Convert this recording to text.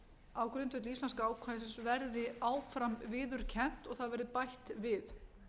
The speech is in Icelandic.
á grundvelli íslenska ákvæðisins verði áfram viðurkennt og það verði bætt við